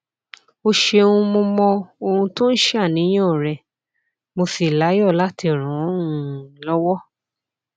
o ṣeun mo mọ ohun tó ń ṣàníyàn rẹ mo sì láyọ láti ràn ọ um lọwọ